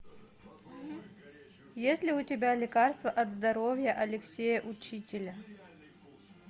есть ли у тебя лекарство от здоровья алексея учителя